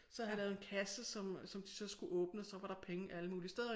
Så havde jeg lavet en kasse som som de så skulle åbne så var der penge alle mulige steder